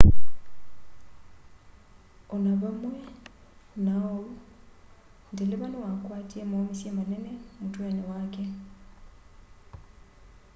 o na vamwe na uu ndeleva niwakwatie mauumisye manene mutweni wake